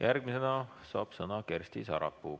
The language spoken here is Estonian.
Järgmisena saab sõna Kersti Sarapuu.